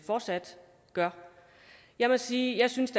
fortsat gør jeg må sige at jeg synes